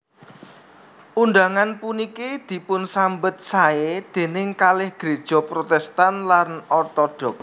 Undangan puniki dipunsambet saé déning kalih gréja Protèstan lan Ortodoks